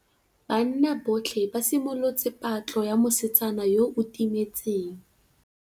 Banna botlhê ba simolotse patlô ya mosetsana yo o timetseng.